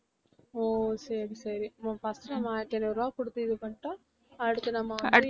ஓ சரி சரி first நம்ம ஆயிரத்து ஐநூறு ரூபாய் குடுத்து இது பண்ணிட்டா அடுத்து நாம வந்து